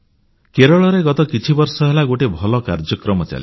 କେରଳରେ ଗତ କିଛିବର୍ଷ ହେଲା ଗୋଟିଏ ଭଲ କାର୍ଯ୍ୟକ୍ରମ ଚାଲିଛି